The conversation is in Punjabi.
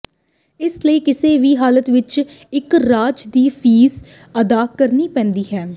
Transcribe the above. ਇਸ ਲਈ ਕਿਸੇ ਵੀ ਹਾਲਤ ਵਿੱਚ ਇੱਕ ਰਾਜ ਦੀ ਫੀਸ ਅਦਾ ਕਰਨੀ ਪੈਂਦੀ ਹੈ